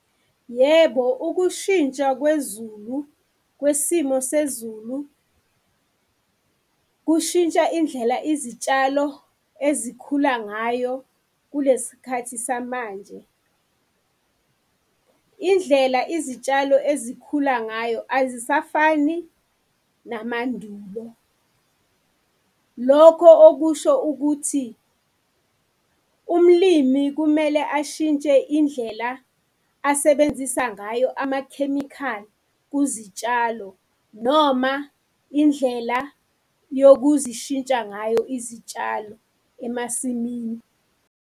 Yebo, ukushintsha kwezulu kwesimo sezulu, kushintsha indlela izitshalo ezikhula ngayo kulesikhathi samanje. Indlela izitshalo ezikhula ngayo azisafani namandulo. Lokho okusho ukuthi, umlimi kumele ashintshe indlela asebenzisa ngayo amakhemikhali kuzitshalo noma indlela yokuzishintsha ngayo izitshalo emasimini.